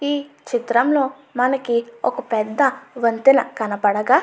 ఈ చిత్రంలో మనకి ఒక పెద్ద వంతెన కనపడగా --